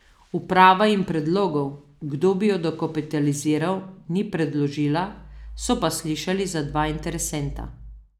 Uprava jim predlogov, kdo bi jo dokapitaliziral, ni predložila, so pa slišali za dva interesenta.